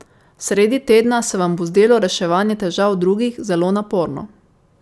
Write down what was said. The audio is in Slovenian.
Sredi tedna se vam bo zdelo reševanje težav drugih zelo naporno.